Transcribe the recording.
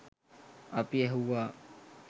අපි ඇහුවා